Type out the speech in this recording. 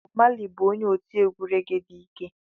Bobu Mali bụ onye otiegwu rege dị ike.